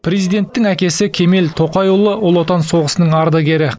президенттің әкесі кемел тоқайұлы ұлы отан соғысының ардагері